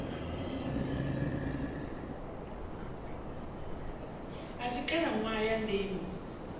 a si khalaṋwaha ya ndimo